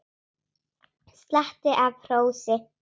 Slatti af hrósi